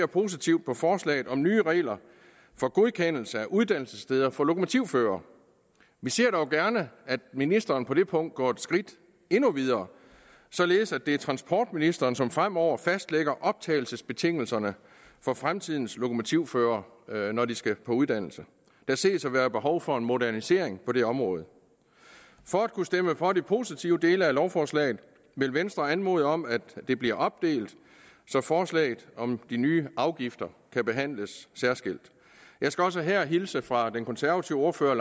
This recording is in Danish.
positivt på forslaget om nye regler for godkendelse af uddannelsessteder for lokomotivførere vi ser dog gerne at ministeren på det punkt går et skridt endnu videre således at det er transportministeren som fremover fastlægger optagelsesbetingelserne for fremtidens lokomotivførere når de skal på uddannelse der ses at være behov for en modernisering på det område for at kunne stemme for de positive dele af lovforslaget vil venstre anmode om at det bliver opdelt så forslaget om de nye afgifter kan behandles særskilt jeg skal også her hilse fra den konservative ordfører